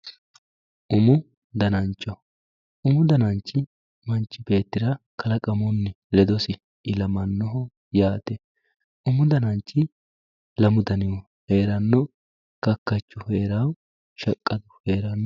Umu danancho, umu dananichi manichi beettira kalaqamunni ledosi ilamanoho yaate, umu dananichi lamu danihu heerano kakachu heerano shaqqadu heeranno